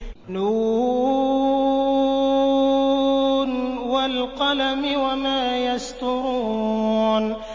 ن ۚ وَالْقَلَمِ وَمَا يَسْطُرُونَ